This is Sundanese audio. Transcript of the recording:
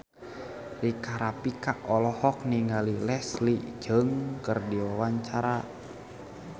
Rika Rafika olohok ningali Leslie Cheung keur diwawancara